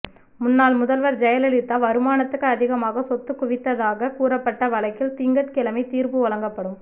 முன்னாள் முதல்வர் ஜெயலலிதா வருமானத்துக்கு அதிகமாக சொத்து குவித்ததாகக் கூறப்பட்ட வழக்கில் திங்கட்கிழமை தீர்ப்பு வழங்கப்படும்